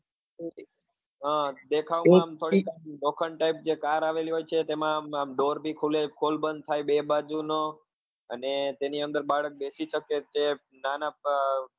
હા દેખાવ માં આમ થોડી આમ લોખંડ type car આવેલી હોય છે તેમાં આમ door બી ખુલે ખોલ બંધ થાય બે બાજુ નો અને તેની અંદર બાળક બેસી શકે છે નાના